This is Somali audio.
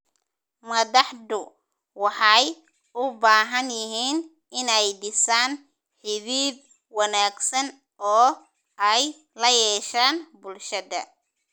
Madaxdu waxay u baahan yihiin inay dhisaan xidhiidh wanaagsan oo ay la yeeshaan bulshada.